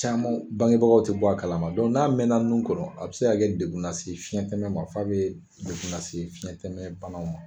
Caman bangebagaw tɛ bɔ a kalama n'a mɛnna nun kɔnɔn a bɛ se kɛ degun lase fiɲɛtɛmɛ ma f'a bɛ degun lase fiɲɛtɛmɛ bana ma.